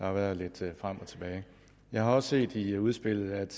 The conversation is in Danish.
har været lidt frem og tilbage jeg har også set i udspillet at